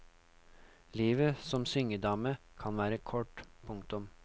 Livet som syngedame kan være kort. punktum